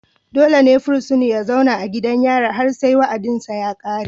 dole ne fursuna ya zauna a gidan yari har sai wa'adinsa ya kare.